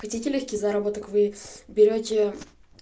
хотите лёгкий заработок вы берёте